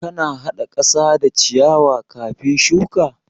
Kana haɗa ƙasa da ciyawa kafin shuki?